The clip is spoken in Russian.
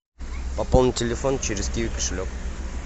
пополнить телефон через киви кошелек